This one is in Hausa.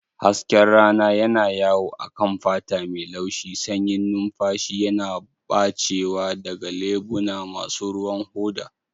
Hasken rana yana yawo a kan fata mai laushi, sanyin numfashi yana ɓacewa daga leɓuna masu ruwan hoda